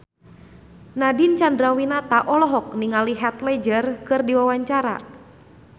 Nadine Chandrawinata olohok ningali Heath Ledger keur diwawancara